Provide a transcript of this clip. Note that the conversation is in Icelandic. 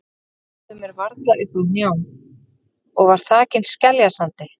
Legsteinninn náði mér varla upp að hnjám og var þakinn skeljasandi.